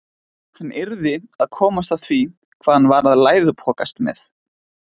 Hann yrði að komast að því hvað hann var að læðupokast með.